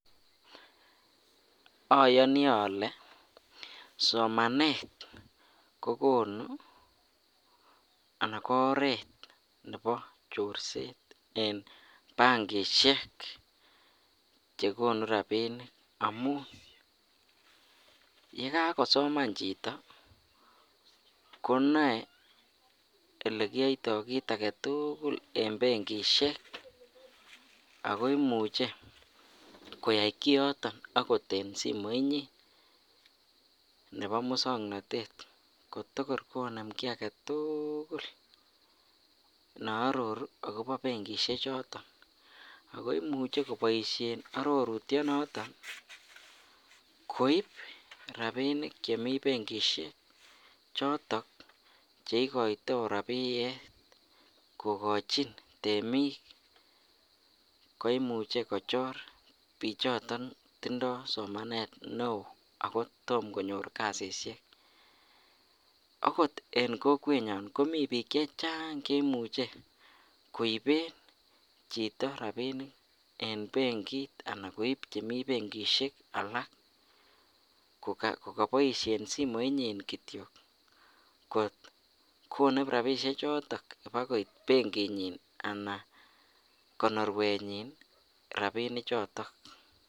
Oyoni olee somanet kokonu anan ko oreet Nebo chorset en benkishek chekonu rabinik amun yekakosoman chito ko noee olekiyoito kiit aketukul en benkishek ak ko imuche koyai koyoton akot en simoinyin nebo muswoknotet kotokor konem kii aketukul neororu okobo benkishe choton ako imuche koboishen arorutie noton koib rabinik chemii benkishek chotok cheikoito rabiyet kokochin temik koimuche kochor bichoton tindo somanet neoo ak ko tomo konyor kasishek akot en kokwenyon komii biik chechang cheimuche koiben chito rabinik en benkit anan koib chemii benkishek alak kikoboishen simoinyin kityok kot konem rabishe choton akoik benkinyin anan konorwenyin rabinichoton.